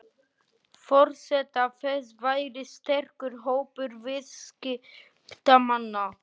Forsenda þess væri sterkur hópur viðskiptamanna